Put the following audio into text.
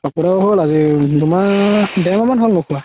পাপু দাদাৰ হ'ল আজি দুমাহ দেৰমাহ মান হ'ল আজি ধুকুৱা